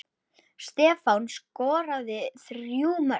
Stefán skoraði þrjú mörk.